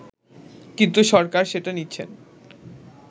কিন্তু সরকার সেটা নিচ্ছেন